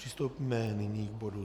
Přistoupíme nyní k bodu